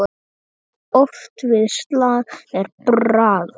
Oft við slag er bragur.